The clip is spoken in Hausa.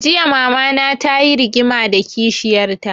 Jiya mama na ta yi rigima da kishiyar ta